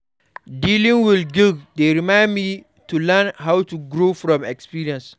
Dealing with guilt dey remind me to learn and grow from my experiences.